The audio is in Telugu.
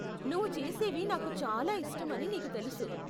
నువ్వు చేసేవి నాకు చాలా ఇష్టం అని నీకు తెలుసు.